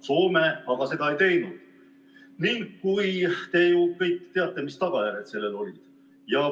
Soome aga seda ei teinud ning te ju kõik teate, mis tagajärjed sellel olid.